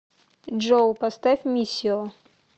джой поставь миссио